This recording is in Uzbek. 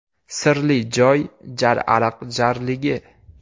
Sirli joy ‘Jar ariq’ jarligi.